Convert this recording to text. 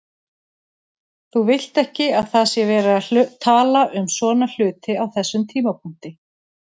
Þú vilt ekki að það sé verið að tala um svona hluti á þessum tímapunkti.